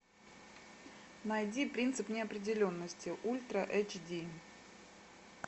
найди принцип неопределенности ультра эйч ди